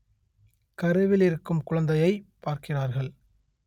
கருவில் இருக்கும் குழந்தையைப் பார்க்கிறார்கள்